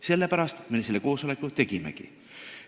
Sellepärast me selle koosoleku tegimegi.